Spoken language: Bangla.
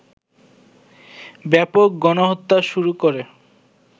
ব্যাপক গণহত্যা শুরু করে